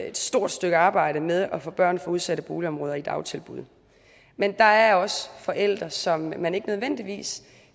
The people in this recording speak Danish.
et stort stykke arbejde med at få børn fra udsatte boligområder i dagtilbud men der er også forældre som man ikke nødvendigvis